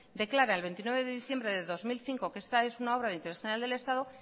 declara el veintinueve de diciembre de dos mil cinco que esta es una obra de interés general del estado